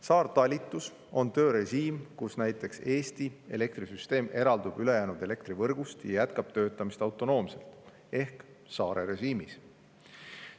Saartalitlus on töörežiim, mille korral näiteks Eesti elektrisüsteem eraldub ülejäänud elektrivõrgust ja jätkab töötamist autonoomselt ehk saarerežiimis.